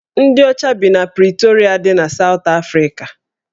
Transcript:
Ndị ọcha bi na Pritorịa dị na Sawt Afrika